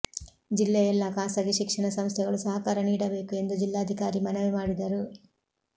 ಜಿಲ್ಲೆಯ ಎಲ್ಲ ಖಾಸಗಿ ಶಿಕ್ಷಣ ಸಂಸ್ಥೆಗಳು ಸಹಕಾರ ನೀಡಬೇಕು ಎಂದು ಜಿಲ್ಲಾಧಿಕಾರಿ ಮನವಿ ಮಾಡಿದರು